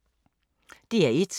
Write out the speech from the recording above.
DR1